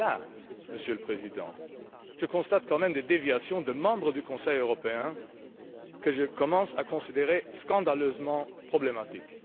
Parce que, là, Monsieur le Président, je constate quand même des déviations de membres du Conseil européen que je commence à considérer comme étant scandaleusement problématiques.